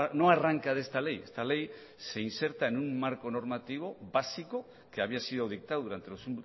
no arranca de esta ley esta ley se inserta en un marco normativo básico que había sido dictado durante los